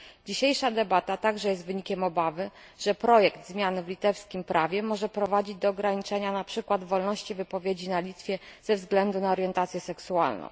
Dzisiejsza debata także jest wynikiem obawy, że projekt zmiany w litewskim prawie może prowadzić do ograniczenia na przykład wolności wypowiedzi na Litwie ze względu na orientację seksualną.